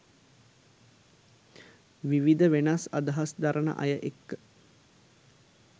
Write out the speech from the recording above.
විවිධ වෙනස් අදහස් දරන අය එක්ක.